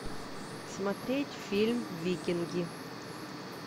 смотреть фильм викинги